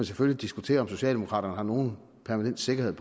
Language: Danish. selvfølgelig diskutere om socialdemokraterne har nogen permanent sikkerhed